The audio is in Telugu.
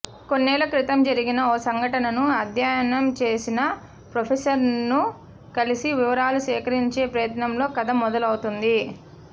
కొన్నేళ్ల క్రితం జరిగిన ఓ సంఘటనను అధ్యయనం చేసిన ఫ్రొఫెసర్ను కలిసి వివరాలు సేకరించే ప్రయత్నంలో కథ మొదలవుతుంది